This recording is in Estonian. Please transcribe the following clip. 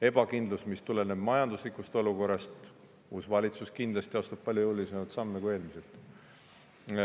Ebakindlus, mis tuleneb majanduslikust olukorrast – uus valitsus kindlasti astub palju jõulisemaid samme kui eelmised.